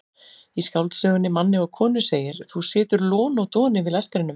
Í skáldsögunni Manni og konu segir: þú situr lon og don yfir lestrinum.